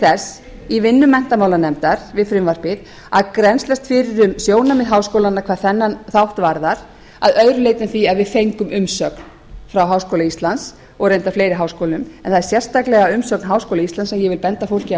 þess í vinnu menntamálanefndar við frumvarpið að grennslast fyrir um sjónarmið háskólanna hvað þennan þátt varðar að öðru leyti en því að við fengum umsögn frá háskóla íslands og reyndar fleiri háskólum en það er sérstaklega umsögn háskóla íslands sem ég vil benda fólki á